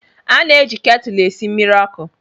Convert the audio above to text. A na-eji ketụlụ esi mmiri ọkụ